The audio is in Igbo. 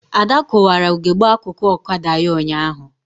Ada kụwara ugegbe akụkụ ọkada ya ụnyaahụ